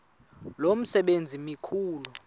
lo msebenzi mkhulu